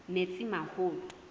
metsimaholo